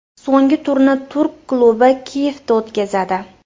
So‘nggi turni turk klubi Kiyevda o‘tkazadi.